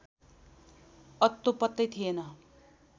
अत्तो पत्तै थिएन